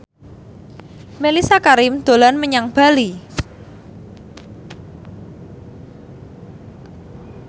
Mellisa Karim dolan menyang Bali